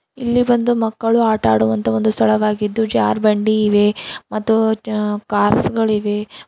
ಇಲ್ಲಿ ಬಂದು ಮಕ್ಕಳು ಆಟ ಆಡುವಂತಹ ಒಂದು ಸ್ಥಳವಾಗಿದ್ದು ಜಾರಬಂಡಿ ಇವೆ ಮತ್ತು ಕಾರ್ಸ್ ಗಳಿವೆ.